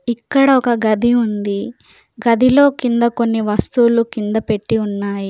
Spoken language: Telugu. ఇక్కడ ఒక గది ఉంది. గదిలో కింద కొన్ని వస్తువులు కింద పెట్టి ఉన్నాయి.